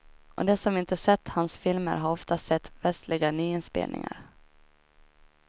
Och de som inte sett hans filmer har ofta sett västliga nyinspelningar.